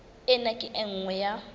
ena ke e nngwe ya